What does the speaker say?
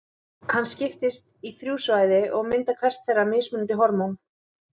Hann skiptist í þrjú svæði og myndar hvert þeirra mismunandi hormón.